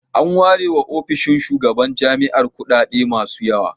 An ware wa ofishin shugaban jami'ar kuɗaɗe masu yawa.